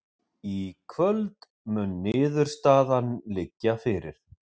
Í kvöld mun niðurstaðan liggja fyrir